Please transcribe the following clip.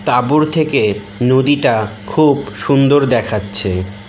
তাঁবুর থেকে নদীটা খুব সুন্দর দেখাচ্ছে।